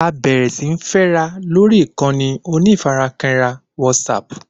A bẹ̀rẹ̀ síí fẹ́ra lórí ìkànnì onífarakínra WhatsApp